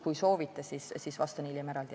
Kui soovite, siis vastan hiljem eraldi.